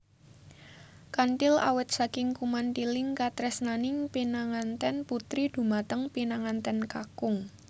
Kanthil awit saking kumanthiling katresnaning pinanganten putri dhumateng pinanganten kakung